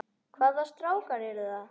Hvaða strákar eru það?